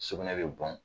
Sugunɛ bɛ bɔn